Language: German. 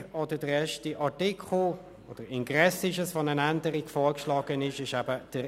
Sprecher der Kommission ist Grossrat Kropf.